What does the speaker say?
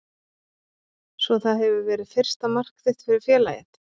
Svo það hefur verið fyrsta mark þitt fyrir félagið?